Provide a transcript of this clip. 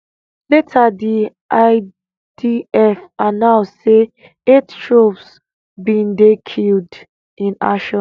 later di idf announce say eight troops bin dey killed in action